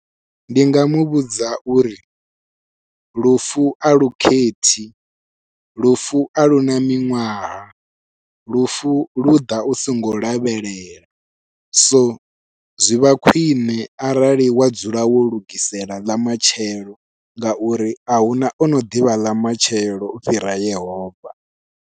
Ndi nga muvhudza uri lufu alu khethi lufu a luna miṅwaha lufu lu ḓa u songo lavhelela so zwi vha khwiṋe arali wa dzula wo lugisela ḽa matshelo ngauri ahuna ono ḓivha ḽa matshelo u fhira yehova.